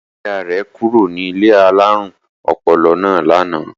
Ìyá-ìyá rẹ̀ kúrò ní ilé alárùn ọpọlọ náà lánàá.